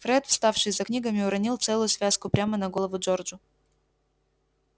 фред вставший за книгами уронил целую связку прямо на голову джорджу